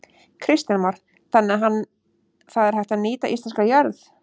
Kristján Már: Þannig að hann, það er hægt að nýta íslenska jörð?